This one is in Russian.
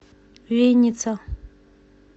винница